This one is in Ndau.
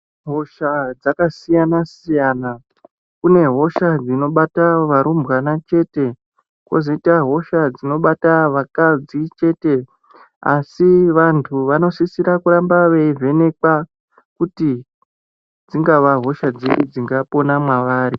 Hosha yakasiyana siyana kune hosha dzinobata varumbwana chete kozoita hosha dzinobata vakadzi chete asi vantu vanosisa kuramba veivhenekwa kuti dzingava hosha dziri dzinga pona mavari.